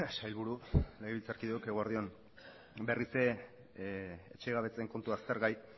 sailburu legebiltzarkideok eguerdi on berriz ere etxegabetzeen kontua aztergai